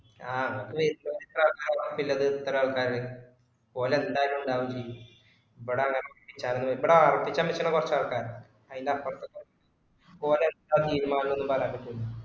ആഹ് അത് ഇപ്പൊ ഇത്ര ആൾകാർ പറമ്പിന്റ്റേത് ഇത്ര ആൾക്കാര് ഓല് ന്തായാലും ഉണ്ടാവേം ചെയ്യും ഇബട ആരംഭിച്ചനു ആരംബിച്ചന് ബെച്ച കുറച്ചാൾക്കാറുണ്ട് അയിൻ്റെ അപ്പര്തെ പറമ്പിന്റെ ഒലെ ന്ത തീരുമാനം ഒന്നും പറയാൻപറ്റൂലാ